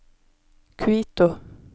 Quito